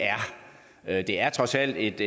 er det er trods alt et